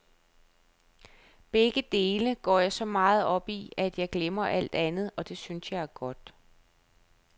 Begge dele går jeg så meget op i, at jeg glemmer alt andet, og det synes jeg er godt.